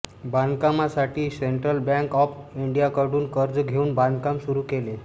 बांधकामासाठी central bank of इंडियाकडून कर्ज घेऊन बांधकाम सुरू केले